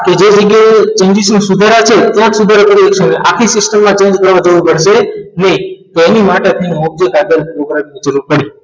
કે જે રીતે english નું સુધરા છે ત્યાં સુધારો કરવાની છે અને આખી system માં change કરવો જરૂર પડશે નહીં તેની માટ object ઉપરાંત ની જરૂર પડશે